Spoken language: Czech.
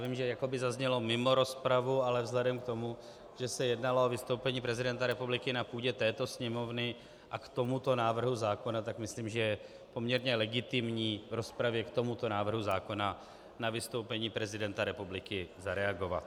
Vím, že jakoby zaznělo mimo rozpravu, ale vzhledem k tomu, že se jednalo o vystoupení prezidenta republiky na půdě této Sněmovny a k tomuto návrhu zákona, tak myslím, že je poměrně legitimní v rozpravě k tomuto návrhu zákona na vystoupení prezidenta republiky zareagovat.